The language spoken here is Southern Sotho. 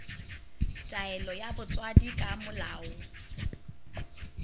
taelo ya botswadi ka molao